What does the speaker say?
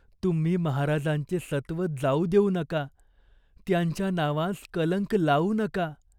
तुम्ही महाराजांचे सत्त्व जाऊ देऊ नका. त्यांच्या नावास कलंक लावू नका.